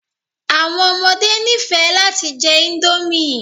Àwọn ọmọde nifẹ lati jẹ indomie